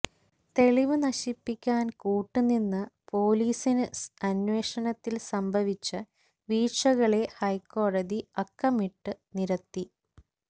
തെളിവ് നശിപ്പിക്കാൻ കൂട്ട് നിന്ന പൊലീസിന് അന്വേഷണത്തില് സംഭവിച്ച വീഴ്ചകളെ ഹൈക്കോടതി അക്കമിട്ട് നിരത്തി